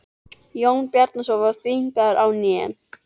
Jón Bjarnason var þvingaður á hnén.